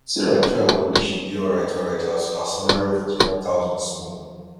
sarah try well make she dey alryt alryt as her salary of forty five thousand small